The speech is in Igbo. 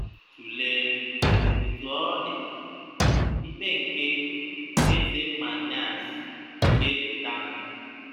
Tụlee, Otú ọ dị, ikpe nke Eze Manase nke Lotanna.